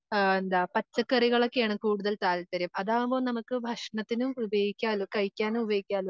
ആഹ് എന്താ പച്ചക്കറികളോക്കെയാണ് കൂടുതൽ താല്പര്യം അതാകുമ്പോ നമുക്ക് ഭക്ഷണത്തിനും ഉപയോഗിക്കാലോ കഴിക്കാനും ഉപയോഗിക്കാലോ